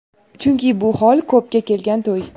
Chunki bu hol ko‘pga kelgan to‘y.